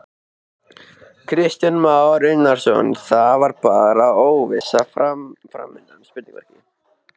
Kristján Már Unnarsson: Það er bara óvissa framundan?